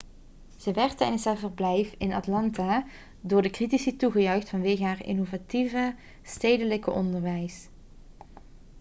ze werd tijdens haar verblijf in atlanta door de critici toegejuicht vanwege haar innovatieve stedelijk onderwijs